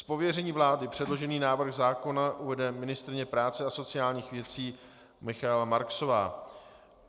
Z pověření vlády předložený návrh zákona uvede ministryně práce a sociálních věcí Michaela Marksová.